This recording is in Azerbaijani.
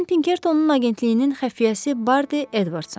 Mən Pinkertonun agentliyinin xəfiyyəsi Bardi Edvardsam.